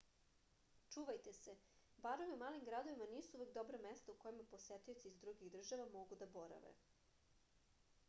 čuvajte se barovi u malim gradovima nisu uvek dobra mesta u kojima posetioci iz drugih država mogu da borave